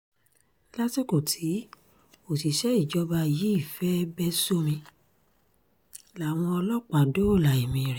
lásìkò tí òṣìṣẹ́ ìjọba yìí fẹ́ẹ́ bẹ́ sómi láwọn ọlọ́pàá dóòlà ẹ̀mí ẹ̀